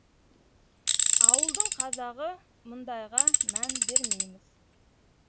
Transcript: ауылдың қазағы мұндайға мән бермейміз